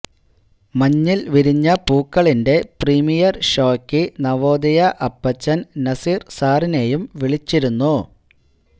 മഞ്ഞിൽ വിരിഞ്ഞ പൂക്കളിന്റെ പ്രീമിയർ ഷോയ്ക്ക് നവോദയ അപ്പച്ചൻ നസീർ സാറിനെയും വിളിച്ചിരുന്നു